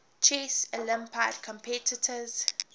chess olympiad competitors